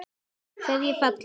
Hverjir falla?